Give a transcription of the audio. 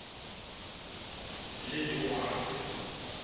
letowana